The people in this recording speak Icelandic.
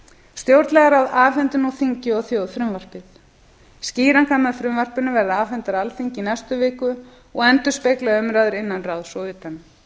stjórnlagaráð afhendir nú þingi og þjóð frumvarpið skýringar með frumvarpinu verða afhentar alþingi í næstu viku og endurspegla umræðuna innan ráðs og utan